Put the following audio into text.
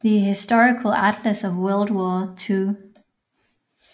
The Historical Atlas of World War II